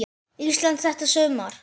Íslandi þetta sumar.